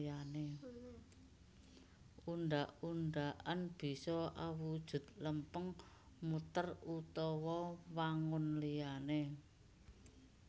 Undhak undhakan bisa awujud lempeng muter utawa wangun liyané